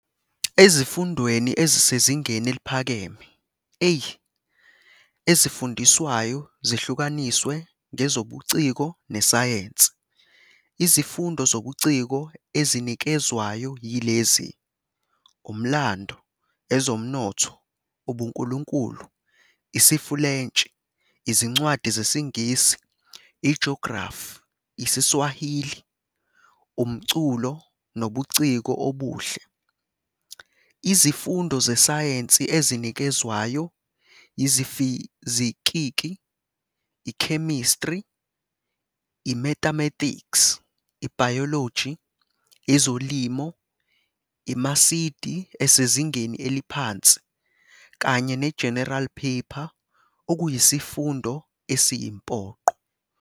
Ezifundweni ezisezingeni eliphakeme, "A", ezifundiswayo zihlukaniswe ngeZobuciko neSayensi. Izifundo zobuciko ezinikezwayo yilezi, Umlando, Ezomnotho, UbuNkulunkulu, IsiFulentshi, Izincwadi ZesiNgisi, IJografi, IsiSwahili, Umculo Nobuciko Obuhle. Izifundo zeSayensi ezinikezwayo yiFizikiki, iChemistry, iMathematics, iBiology, ezoLimo, iMasidi esezingeni eliphansi kanye neGeneral Paper okuyisifundo esiyimpoqo.